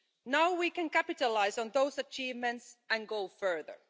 Now we can capitalise on those achievements and go further.